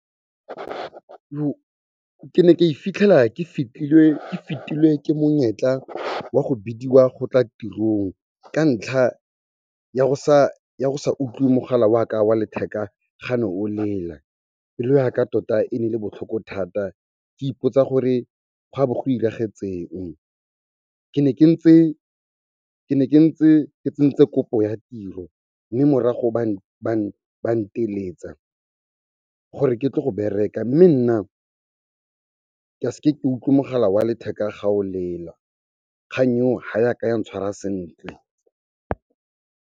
Ke ne ka ke fetilwe ke monyetla wa go bidiwa go tla tirong ka ntlha ya go sa utlwe mogala wa ka wa letheka gane o lela. Pelo ya ka tota e ne e le botlhoko thata ke ipotsa gore gwa bo go iragetseng. Ke ne ke ntse ke tsentse kopo ya tiro mme morago ba nteletsa gore ke tle go bereka mme nna ke a s'ke utlwe mogala wa letheka ga o lela. Kgang eo ga yaka ya tshwara sentle.